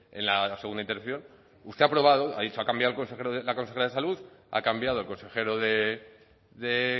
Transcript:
en la segunda intervención usted ha probado ha dicho ha cambiado la consejera de salud ha cambiado el consejero de